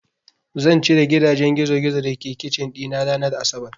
Zan cire gidajen gizogizo da ke kicin ɗina ranar asabar.